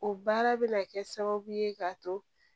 O baara bɛ na kɛ sababu ye k'a to